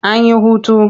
An yi hutu.